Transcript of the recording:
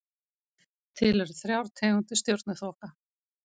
Til eru þrjár tegundir stjörnuþoka.